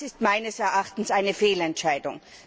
Das ist meines Erachtens eine Fehlentscheidung.